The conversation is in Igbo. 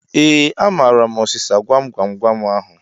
Ee, amaara m ọsịsa gwam gwam gwam ahu